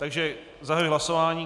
Takže zahajuji hlasování.